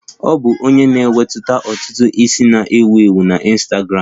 Ọ bụ onye na-emetụta ntutu isi na-ewu ewu na Ịnstagramụ